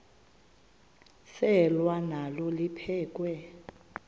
selwa nalo liphekhwe